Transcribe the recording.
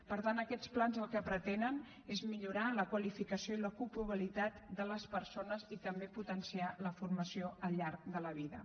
per tant aquests plans el que pretenen és millorar la qualificació i l’ocupabilitat de les persones i també potenciar la formació al llarg de la vida